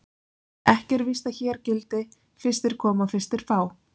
Ekki er víst að hér gildi: Fyrstir koma, fyrstir fá.